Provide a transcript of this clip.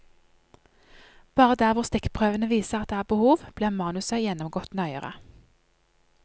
Bare der hvor stikkprøvene viser at det er behov, blir manuset gjennomgått nøyere.